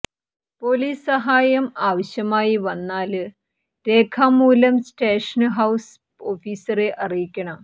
police സഹായം ആവശ്യമായി വന്നാല് രേഖാമൂലം സ്റ്റേഷന് ഹൌസ് ഓഫീസറെ അറിയിക്കണം